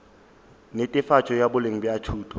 netefatšo ya boleng bja thuto